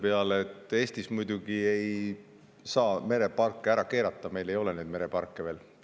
Eestis ei saa muidugi mereparke ära keelata, sest meil ei ole neid mereparke veel.